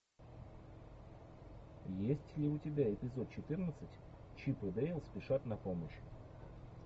есть ли у тебя эпизод четырнадцать чип и дейл спешат на помощь